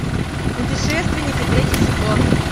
путешественники третий сезон